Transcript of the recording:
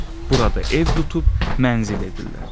Burada ev tutub mənzil edirlər.